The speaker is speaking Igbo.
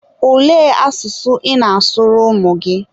olee asụsụ ị na-asụrụ ụmụ gị?